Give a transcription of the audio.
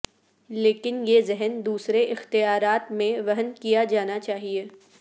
لیکن یہ ذہن دوسرے اختیارات میں وہن کیا جانا چاہئے